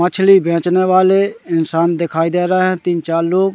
मछली बेचने वाले इंसान दिखाई दे रहें हैं तीन चार लोग--